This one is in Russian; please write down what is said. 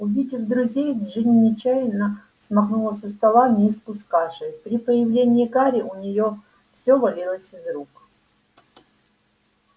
увидев друзей джинни нечаянно смахнула со стола миску с кашей при появлении гарри у неё всё валилось из рук